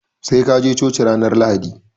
Sai kaje choci ranar lahadi